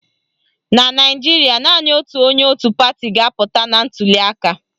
Na Naijiria, naanị otu onye otu pati ga-apụta na ntuliaka